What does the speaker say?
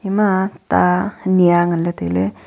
ama ah ta anyi ya nganle taile.